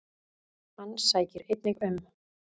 Hann sækir einnig um.